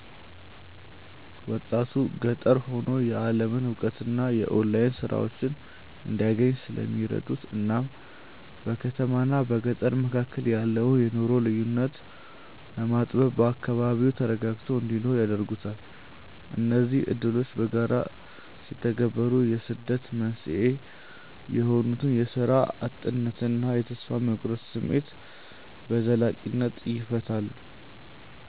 ወጣቱ ገጠር ሆኖ የዓለምን እውቀትና የኦንላይን ሥራዎችን እንዲያገኝ ስለሚረዱት እናም በከተማና በገጠር መካከል ያለውን የኑሮ ልዩነት በማጥበብ በአካባቢው ተረጋግቶ እንዲኖር ያደርጉታል። እነዚህ ዕድሎች በጋራ ሲተገበሩ የስደት መንስኤ የሆኑትን የሥራ እጥነትና የተስፋ መቁረጥ ስሜት በዘላቂነት ይፈታሉ።